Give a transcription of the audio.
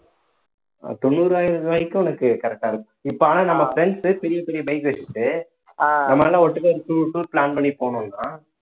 தொண்ணூறாயிரம் ரூபாய்க்கும் உனக்கு correct ஆ இருக்கும் இப்ப ஆனா நம்ம friends பெரிய பெரிய bike வச்சுக்கிட்டு நம்ம எல்லாம் ஒட்டுக்க ஒரு to~ tour plan பண்ணி போனோம்ன்னா